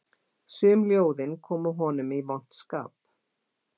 Sum ljóðin komu honum í vont skap